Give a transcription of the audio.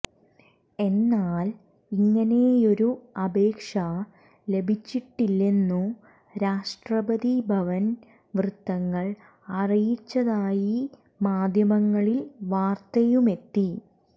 എന്നാൽ ഇങ്ങനെയൊരു അപേക്ഷ ലഭിച്ചിട്ടില്ലെന്നു രാഷ്ട്രപതി ഭവൻ വൃത്തങ്ങൾ അറിയിച്ചതായി മാധ്യമങ്ങളിൽ വാർത്തയുമെത്തി